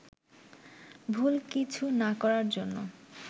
ভুল কিছু না করার জন্য